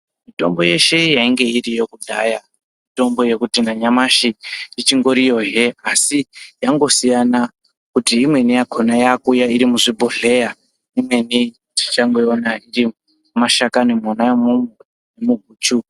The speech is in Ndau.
Mitombo yeshe yainga iriyo kudhaya mitombo uekuti nanyamashi ichingoriyohe asi yangosiyana kuti imweni yakhona yakuuya iri muzvibhodhleya imweni tichangoiona mumashakani mwona umomo muguchu.